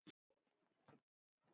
Jú takk